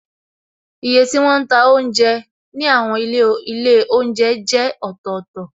Iye tí wọn ń ta oúnjẹ ní àwọn ilé oúnjẹ jẹ́ ọ̀tọ̀tọ̀,